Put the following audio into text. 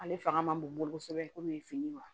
Ale fanga man bon kosɛbɛ komi fini wa